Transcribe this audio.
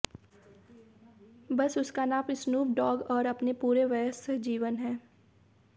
बस उसका नाम स्नूप डॉग और अपने पूरे वयस्क जीवन है